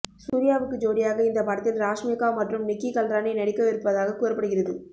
சூர்யாவுக்கு ஜோடியாக இந்த படத்தில் ராஷ்மிகா மற்றும் நிக்கி கல்ராணி நடிக்கவிருப்பதாக கூறப்படுகிறது